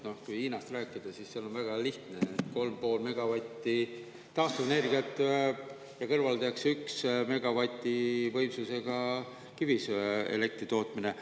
Kui Hiinast rääkida, siis seal on väga lihtne: 3,5 megavatti taastuvenergiat ja kõrvaldatakse 1 megavati võimsusega kivisöeelektri tootmine.